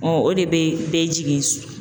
o de be bɛɛ jigin